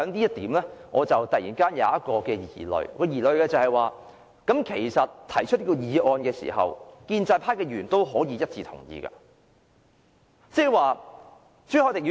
就此，我突然心生疑慮，就是這項議案提出後，其實建制派議員也是可以一致同意的。